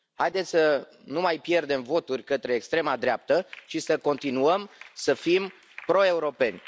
Haideți să nu mai pierdem voturi către extrema dreaptă și să continuăm să fim pro europeni.